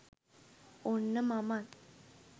ඔන්න මමත්